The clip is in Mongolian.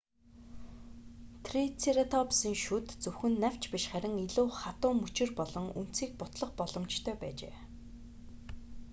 трицератопсын шүд зөвхөн навч биш харин илүү хатуу мөчир болон үндсийг бутлах боломжтой байжээ